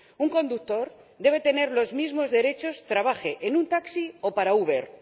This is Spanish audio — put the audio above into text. Un conductor debe tener los mismos derechos, trabaje en un taxi o para Uber.